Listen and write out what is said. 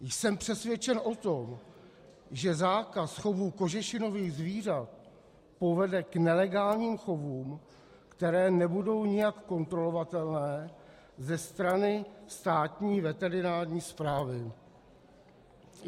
Jsem přesvědčen o tom, že zákaz chovu kožešinových zvířat povede k nelegálním chovům, které nebudou nijak kontrolovatelné ze strany Státní veterinární správy.